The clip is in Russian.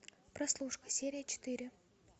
прослушка серия четыре